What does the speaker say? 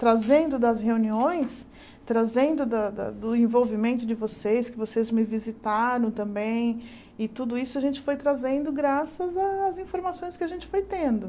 trazendo das reuniões, trazendo da da do envolvimento de vocês, que vocês me visitaram também, e tudo isso a gente foi trazendo graças às informações que a gente foi tendo.